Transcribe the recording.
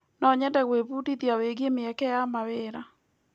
No nyende gwĩbundithia wĩgiĩ mĩeke ya mawĩra.